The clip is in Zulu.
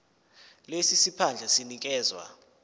lesi siphandla sinikezwa